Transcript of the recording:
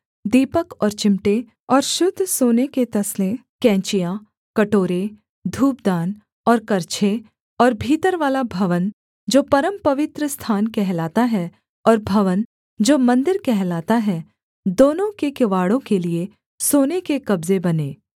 दीपक और चिमटे और शुद्ध सोने के तसले कैंचियाँ कटोरे धूपदान और करछे और भीतरवाला भवन जो परमपवित्र स्थान कहलाता है और भवन जो मन्दिर कहलाता है दोनों के किवाड़ों के लिये सोने के कब्जे बने